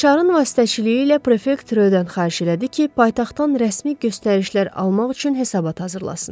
Rişarın vasitəçiliyi ilə prefekt Röydən xahiş elədi ki, paytaxtdan rəsmi göstərişlər almaq üçün hesabat hazırlasın.